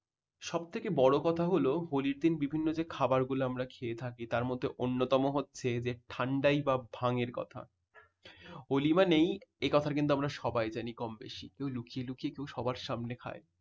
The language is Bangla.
সব থেকে বড় কথা হল হলি র দিন বিভিন্ন যে খাবার গুলো আমরা খেয়ে থাকি তার মধ্যে অন্যতম হচ্ছে ঠান্ডাই বা ভাং এর কথা। হলি মানেই এ কথা কিন্তু আমরা সবাই জানি কমবেশি। কেউ লুকিয়ে লুকিয়ে ও সবার সামনে খায়।